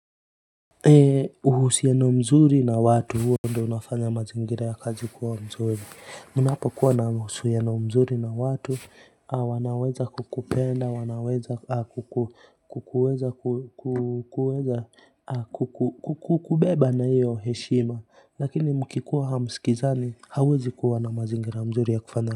Uhusiano mzuri na watu huo ndio unafanya mazingira ya kazi kuwa mzuri mnapo kuwa na uhusiano mzuri na watu au wanaweza kukupenda wanaweza kukuweza kukuweza kukuweza kukubeba na iyo heshima lakini mkikuwa hamsikizani hauwezi kuwa na mazingira mzuri ya kufanya.